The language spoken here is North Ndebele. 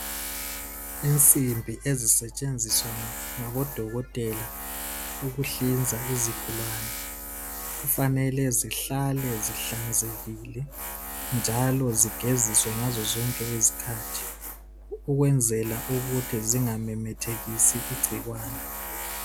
Insimbi ezisetshenziswa ngabodokotela ukuhlinza izigulane kufanele zihlale zihlanzekile njalo zigeziswe ngazo zonke izikhathi ukwenzela ukuthi zingamemethekisi igcikwane